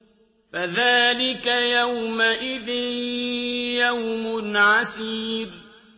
فَذَٰلِكَ يَوْمَئِذٍ يَوْمٌ عَسِيرٌ